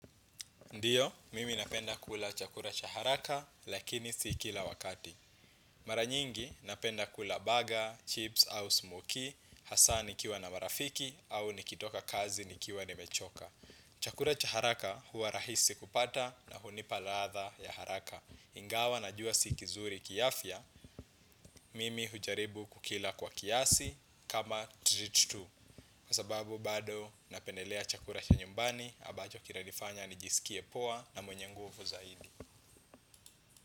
Ndiyo, mimi napenda kula chakura cha haraka lakini si kila wakati. Mara nyingi napenda kula burger, chips au smokie, hasa nikiwa na marafiki au nikitoka kazi nikiwa nimechoka. Chakura cha haraka huwa rahisi kupata na hunipa ladha ya haraka. Ingawa najua si kizuri kiafya, mimi hujaribu kukila kwa kiasi kama treat tu. Kwa sababu bado napendelea chakura cha nyumbani abacho kinanifanya nijisikie poa na mwenye nguvu zaidi.